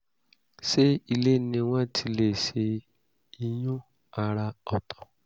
ṣé ilé ni wọ́n ti lè ṣe ìyún àrà ọ̀tọ̀?